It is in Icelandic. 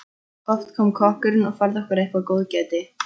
Oft kom kokkurinn og færði okkur eitthvert góðgæti.